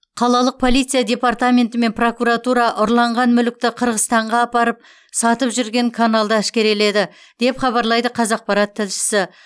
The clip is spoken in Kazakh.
қалалық полиция департаменті мен прокуратура ұрланған мүлікті қырғызстанға апарып сатып жүрген каналды әшкереледі деп хабарлайды қазақпарат тілшісі